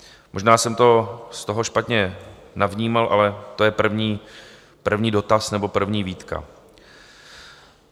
Možná jsem to z toho špatně navnímal, ale to je první dotaz nebo první výtka.